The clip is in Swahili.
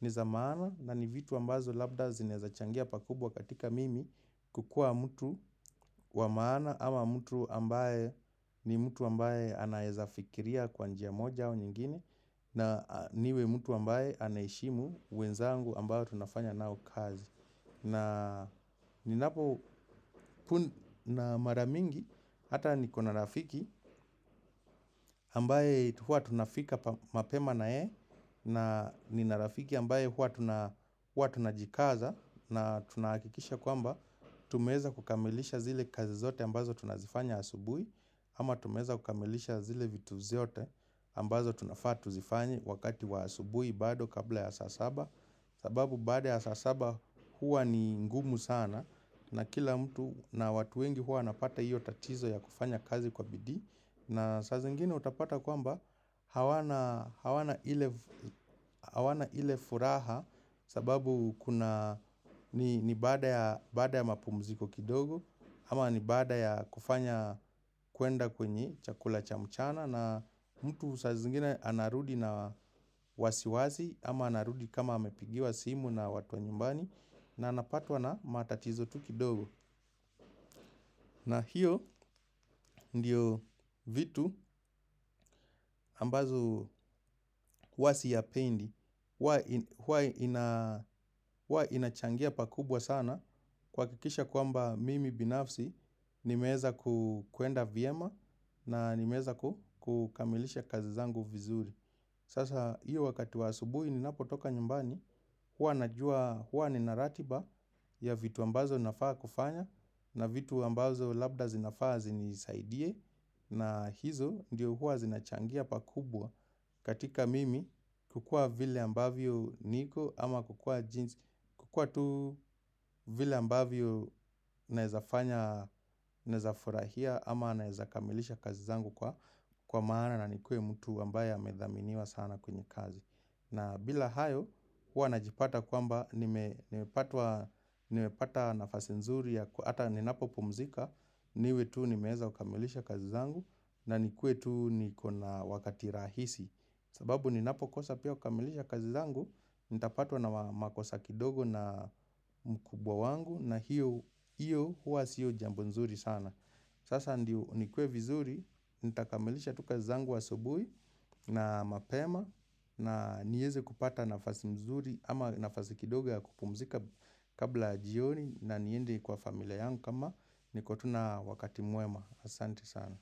ni za maana na ni vitu ambazo labda zinezachangia pakubwa katika mimi kukua mtu wa maana ama mtu ambaye ni mtu ambaye anaezafikiria kwanjia moja wa nyingine na niwe mtu ambaye anaheshimu wenzangu ambayo tunafanya nao kazi. Na ninapo na maramingi hata niko na rafiki ambaye hua tunafika mapema na ye na nina rafiki ambaye hua tunajikaza na tunaakikisha kwamba tumeza kukamilisha zile kazi zote ambazo tunazifanya asubui. Ama tumeza ukamilisha zile vitu ziote ambazo tunafaa tuzifanye wakati waasubui bado kabla ya sasaba. Sababu baada ya sasaba huwa ni ngumu sana na kila mtu na watu wengi huwa napata iyo tatizo ya kufanya kazi kwa bidii. Na saa zingine utapata kwamba hawana ile furaha sababu ni baadea ya mapumuziko kidogo. Ama ni baada ya kufanya kuenda kwenye chakula cha mchana na mtu sa zingine anarudi na wasiwasi ama anarudi kama amepigiwa simu na watu wa nyumbani na napatwa na matatizo tu kidogo. Na hiyo ndiyo vitu ambazo huwa siyapendi, hua inachangia pakubwa sana kuwakikisha kuamba mimi binafsi nimeeza kuenda vyema na nimeeza kukamilisha kazizangu vizuri. Sasa hiyo wakati wa asubuhi ni napotoka nyumbani. Hwa najua, huwa ni naratiba ya vitu ambazo nafaa kufanya. Na vitu ambazo labda zinafaa zinisaidie. Na hizo ndiyo huwa zinachangia pakubwa. Katika mimi kukua vile ambavyo niko ama kukua jinsi kukua tu vile ambavyo naezafanya, naezafurahia ama naezakamilisha kazizangu kwa kwa maana na nikuwe mtu wambaye amedhaminiwa sana kwenye kazi. Na bila hayo, hua najipata kwamba nimepata nafasi nzuri. Ata ni napo pumzika, niwe tuu ni meeza ukamilisha kazi zangu. Na nikuwe tuu ni kona wakati rahisi. Sababu ninapo kosa pia ukamilisha kazi zangu. Nitapatwa na makosa kidogo na mkubwa wangu. Na hiyo hua siyo jambo nzuri sana. Sasa ndiyo nikue vizuri, nitakamilisha tuka zangu asubui na mapema na nieze kupata nafasi mzuri ama nafasi kidoga kupumzika kabla jioni na niende kwa familia yangu kama niko tu na wakati mwema. Asanti sana.